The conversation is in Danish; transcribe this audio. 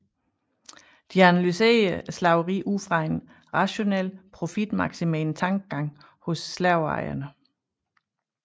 De analyserede slaveriet ud fra en rationel profitmaksimerende tankegang hos slaveejerne